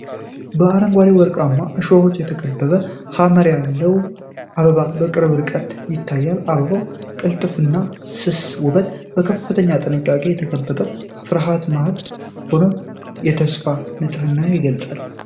በአረንጓዴና ወርቃማ እሾሆች የተከበበች ሐመር ያለች አበባ በቅርብ ርቀት ይታያል። የአበባው ቅልጥፍናና ስስ ውበት በከፍተኛ ጥንቃቄ በተከበበ ፍርሃት መሃል ሆኖ ተስፋንና ንጽህናን ይገልፃል።